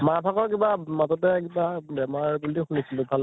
মা ভাগৰ কিবা মাজতে কিবা বেমাৰ বুলি শুনিছিলো, ভাল